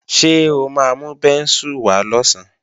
Ṣé o máa mú bẹ́ńsù wá lọ̀sán?